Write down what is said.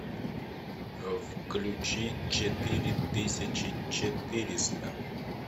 включи четыре тысячи четыреста